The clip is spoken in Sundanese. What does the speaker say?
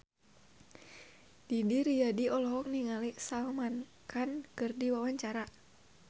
Didi Riyadi olohok ningali Salman Khan keur diwawancara